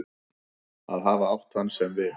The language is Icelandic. Að hafa átt hann sem vin.